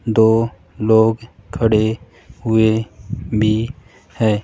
दो लोग खड़े हुए भी है।